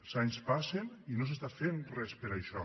els anys passen i no s’està fent res per això